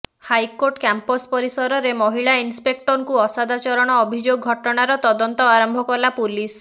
high court campus ପରିସରରେ ମହିଳା ଇନ୍ସପେକ୍ଟରଙ୍କୁ ଅସଦାଚରଣ ଅଭିଯୋଗ ଘଟଣାର ତଦନ୍ତ ଆରମ୍ଭ କଲା ପୁଲିସ